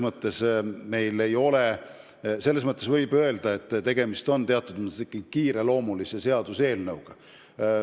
Võib öelda, et selles mõttes on tegemist ikkagi kiireloomulise seaduseelnõuga.